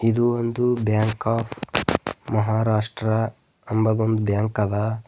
ಇದು ಒಂದು bank of Maharashtra ಅಂಬಾದ ಒಂದು ಬ್ಯಾಂಕ್ ಅದ.